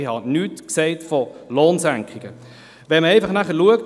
Ich habe nichts von Lohnsenkungen gesagt.